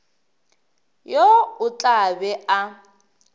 yo o tla be a